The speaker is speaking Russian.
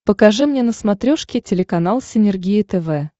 покажи мне на смотрешке телеканал синергия тв